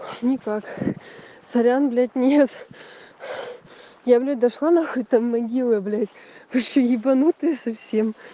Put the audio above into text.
никак сорян блять нет я блять дошла нахуй там могилы блять вообще ебанутое совсем